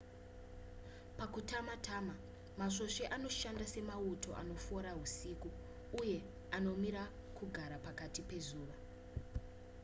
pakutama-tama masvosve anoshanda semauto anofora husiku uye anomira kugara pakati pezuva